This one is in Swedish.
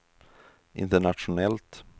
internationellt